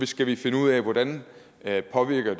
skal vi finde ud af hvordan det påvirker